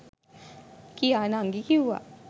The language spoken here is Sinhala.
කියා නංගි කිව්වා.